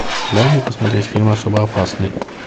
дай мне посмотреть фильм особо опасный